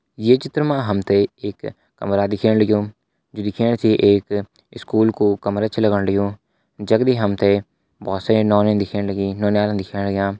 ये चित्र मा हम ते एक कमरा दिखेण लग्युं जु दिखेण से एक स्कूल कु कमरा छ लगण लग्युं जगदी हम ते बहोत सारी नौनी दिखेण लगीं नौनियाल दिखेण लग्यां।